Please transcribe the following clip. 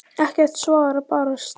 Ekkert svar barst.